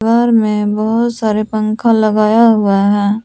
और दीवार में बहुत सारे पंखा लगाया हुआ है।